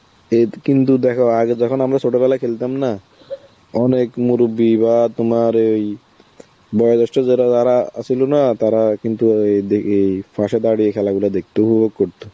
এত~ কিন্তু দেখো আগে যখন আমরা ছোটবেলায় খেলতাম না, অনেক মুরুব্বী বা তোমার এই বড় জৈষ্ঠ যারা~ যারা আ ছিলনা, তারা কিন্তু অ্যাঁ ই দিকে~ পাশে দাড়িয়ে খেলা গুলো দেখতো, উপভোগ করতো.